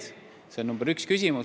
See on küsimus nr 1.